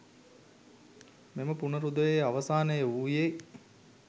මෙම පුනරුදයේ අවසානය වූයේ